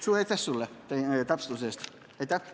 Suur aitäh sulle täpsustuse eest!